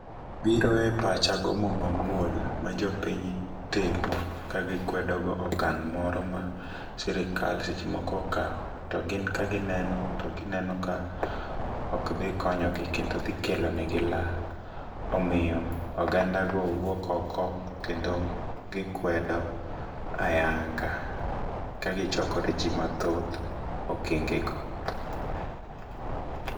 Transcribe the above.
Biro e pacha gomo mamuol ma jopiny timo ka gikwedo go okang moro ma sirikal seche moko okawo. To gin ka gineno to gineno ka ok dhi konyogi, kendo dhi kelo negi lal. Omiyo oganda go wuok oko kendo gikwedo ayanga kagichokore ji mathoth okenge go.